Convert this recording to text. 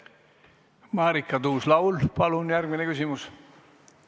Marika Tuus-Laul, palun järgmine küsimus!